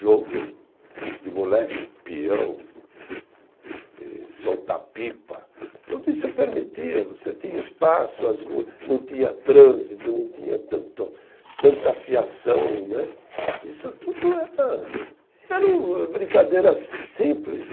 Jogo de moleque, pião, e soltar pipa, tudo isso permitia, você tinha espaço, as ruas, não tinha trânsito, não tinha tanto tanta fiação né, isso tudo era, eram brincadeiras simples.